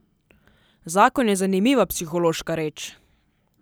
Zakon je zanimiva psihološka reč.